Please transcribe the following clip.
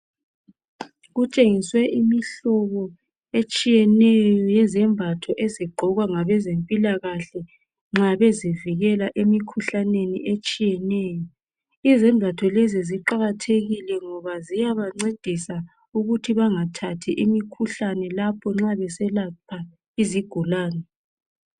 Kutshengiswe imihlobo etshiyeneyo yezembatho ezigqokwa ngabezempilakahle nxa bezivikela emkhuhlaneni etshiyeneyo izembatho lezi ziqakathekile ngoba ziyabancedisa ukuthi bengathathi imikhuhlane lapho nxa beselapha izigulane.